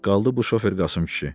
Qaldı bu şofer Qasım kişi.